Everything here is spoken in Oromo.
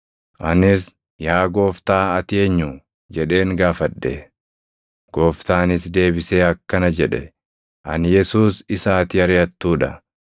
“Anis, ‘Yaa Gooftaa ati Eenyu?’ jedheen gaafadhe. “Gooftaanis deebisee akkana jedhe; ‘Ani Yesuus isa ati ariʼattuu dha.